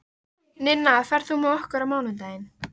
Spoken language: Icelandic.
Ninna, ferð þú með okkur á mánudaginn?